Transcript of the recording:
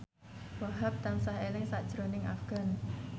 Wahhab tansah eling sakjroning Afgan